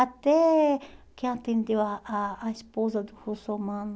Até que atendeu a a a esposa do Russomano